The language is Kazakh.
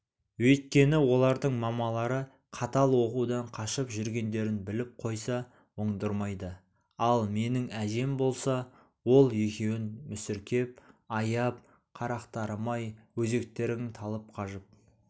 өйткені олардың мамалары қатал оқудан қашып жүргендерін біліп қойса оңдырмайды ал менің әжем болса ол екеуін мүсіркеп аяп қарақтарым-ай өзектерің талып қажып